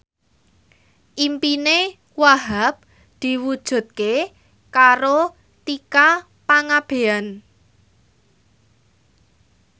impine Wahhab diwujudke karo Tika Pangabean